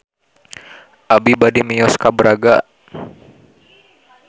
Abi bade mios ka Braga